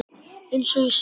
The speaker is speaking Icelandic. Eins og ég segi.